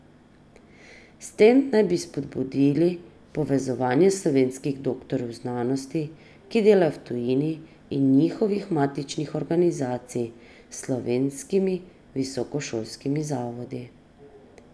S tem naj bi spodbudili povezovanje slovenskih doktorjev znanosti, ki delajo v tujini, in njihovih matičnih organizacij s slovenskimi visokošolskimi zavodi.